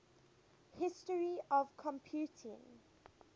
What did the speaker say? history of computing